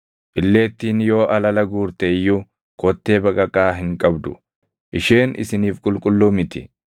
Illeettiin yoo alala guurte iyyuu kottee baqaqaa hin qabdu; isheen isiniif qulqulluu miti.